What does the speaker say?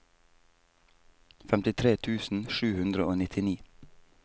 femtitre tusen sju hundre og nittini